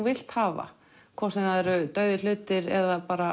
vilt hafa hvort sem það eru dauðir hlutir eða